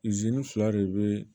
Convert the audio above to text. fila de be